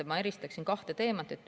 Ma eristaksin kahte teemat.